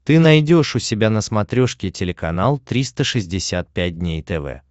ты найдешь у себя на смотрешке телеканал триста шестьдесят пять дней тв